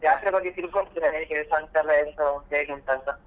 ಜಾತ್ರೆ ಬಗ್ಗೆ ತಿಳ್ಕೊಂಡ್ ಬಿಟ್ರಾ ಹೇಗೆ ಸಂಜೆ ಎಲ್ಲ ಎಂಥ ಹೇಗುಂಟು ಅಂತ.